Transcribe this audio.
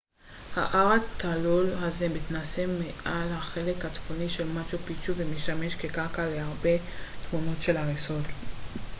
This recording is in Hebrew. ההר התלול הזה מתנשא מעל החלק הצפוני של מאצ'ו פיצ'ו ומשמש כרקע להרבה תמונות של ההריסות